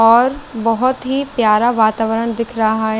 और बहोत ही पियारा वातावरण दिख रहा है --